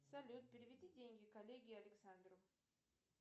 салют переведи деньги коллеге александру